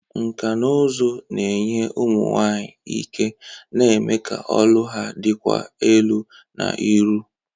Nkà na ụzụ na-enye ụmụ nwanyị ike, na-eme ka olu ha dịkwuo elu na iru.